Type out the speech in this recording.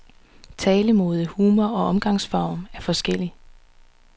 Talemåde, humor og omgangsform er forskellig.